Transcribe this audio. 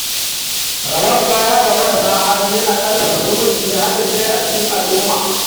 Rabon kaya ga marasa hali yana ƙarfafa zumunci da haɗin kai a cikin al’umma.